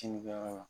Kinni kɛyɔrɔ la